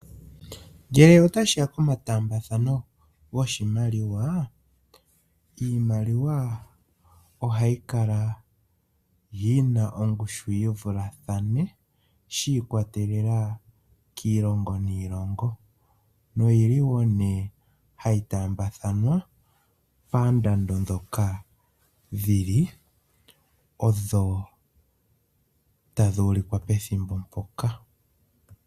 Ngele ota shiya pomataambathano goshimaliwa, iimaliwa oha yi kala yi na ongushu yi vulathane shi ikwatelela kiilongo niilongo no yili woo nee ha yi taambathanwa paandando ndhoka dhi li odho tadhi ulikwa pethimbo mpoka.